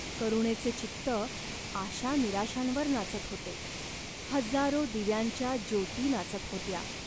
करुणेचे चित्त आशानिराशांवर नाचत होते. हजारो दिव्यांच्या ज्योती नाचत होत्या.